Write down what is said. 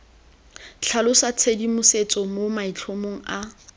tlhalosa tshedimosetso mo maitlhomong a